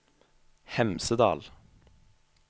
Hemsedal